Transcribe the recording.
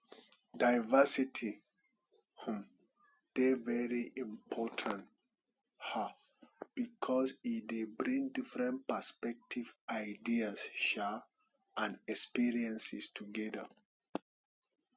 diversity um dey very important um because e dey bring different perspectives ideas um and experiences together